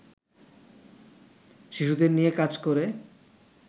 শিশুদের নিয়ে কাজ করে